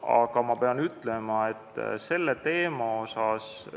Aga ma pean ütlema, et selle teema pärast